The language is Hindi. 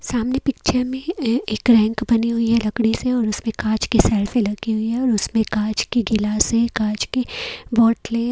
सामने पिक्चर ए एक रैंक बनी हुई है लकड़ी से और उसमें कांच की सेल्फी लगी हुई है और उसमें कांच की गिलास है कांच की बॉटले --